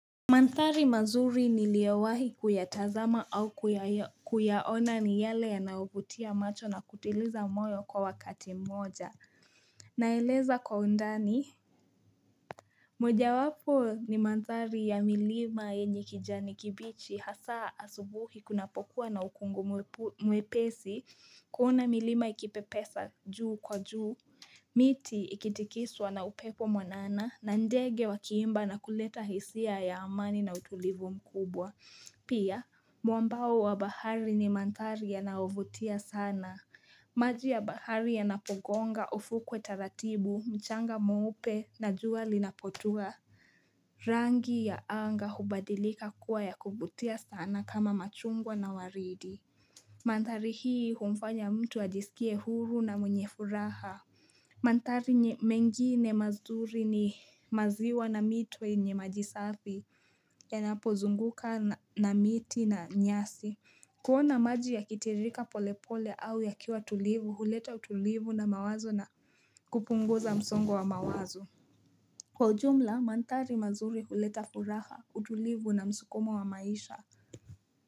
Manthari mazuri niliowahi kuyatazama au kuyaona ni yale yanaovutia macho na kutiliza moyo kwa wakati moja naeleza kwa undani moja wapo ni manthari ya milima yenye kijani kibichi hasa asubuhi kunapokuwa na ukungu mwepesi kuona milima ikipepesa juu kwa juu, miti ikitikiswa na upepo mwanana na ndege wakiimba na kuleta hisia ya amani na utulivu mkubwa. Pia, muambao wa bahari ni manthari yanaovutia sana. Maji ya bahari yanapogonga ufukuwe taratibu, mchanga mweupe na juwa linapotua. Rangi ya anga hubadilika kuwa ya kuvutia sana kama machungwa na waridi. Manthari hii humfanya mtu ajisikie huru na mwenye furaha. Manthari mengine mazuri ni maziwa na mito yenye maji safi. Yanapozunguka na miti na nyasi kuona maji yakitiririka polepole au yakiwa tulivu huleta utulivu na mawazo na kupunguza msongo wa mawazo kwa jumla manthari mazuri huleta furaha utulivu na msukumo wa maisha.